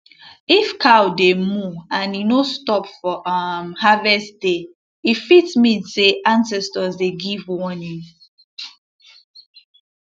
if cow dey moo and e no stop for um harvest day e fit mean say ancestors dey give warning